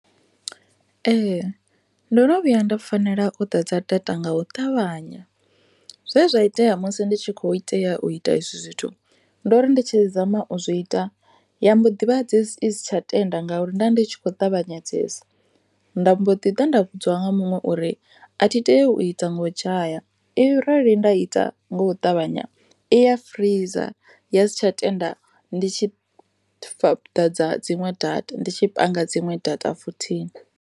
Ndono vhuya nda fanela u ḓadza dzta nga u ṱavhanya zwezwa itea musi ndi tshi kho tea u ita ezwi zwithu ndori ndi tshi zama u zwi ita ya mbo ḓivha i si tsha tenda ngauri ndovha ndi tshi khou ṱavhanyedzesa nda mbo ḓi ḓa nda vhudziwa nga muṅwe uri a thi tei u ita nga u dzhaya arali nda ita nga u ṱavhanya i ya freezor ya si tsha tenda ndi ndi tshi fhedza dziṅwe data, ndi tshi ḓadza dziṅwe data futhi.